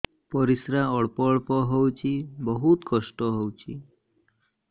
ପରିଶ୍ରା ଅଳ୍ପ ଅଳ୍ପ ହଉଚି ବହୁତ କଷ୍ଟ ହଉଚି